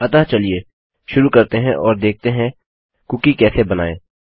अतः चलिए शुरू करते हैं और देखते हैं कुकी कैसे बनाएँ